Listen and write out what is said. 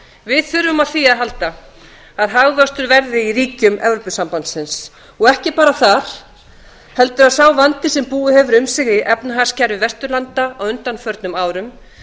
við þurfum á því að halda að hagvöxtur verði í ríkjum evrópusambandsins og ekki bara það heldur að sá vandi sem búið hefur um sig í efnahagskerfi vesturlanda á undanförnum árum